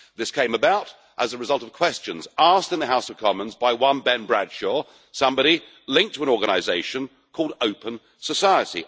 This came about as a result of questions asked in the House of Commons by one Ben Bradshaw, somebody linked to an organisation called Open Society.